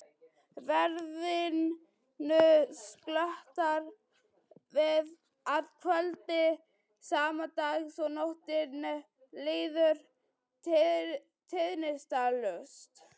Veðrinu slotar að kvöldi sama dags og nóttin líður tíðindalaust.